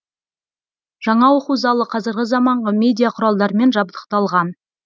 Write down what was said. жаңа оқу залы қазіргі заманғы медиа құралдармен жабдықталған